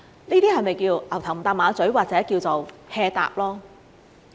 這是否叫作"牛頭唔搭馬嘴"，或者叫做 "hea 答"？